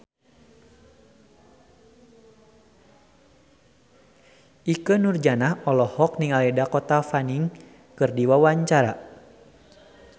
Ikke Nurjanah olohok ningali Dakota Fanning keur diwawancara